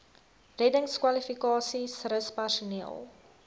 reddingskwalifikasies rus personeel